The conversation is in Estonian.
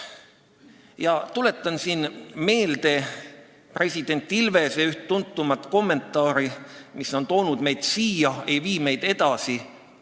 Ma tuletan siin meelde president Ilvese üht tuntuimat kommentaari: mis on toonud meid siia, ei vii meid edasi.